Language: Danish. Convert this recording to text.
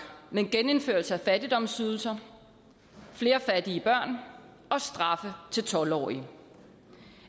med en genindførelse af fattigdomsydelser flere fattige børn og straffe til tolv årige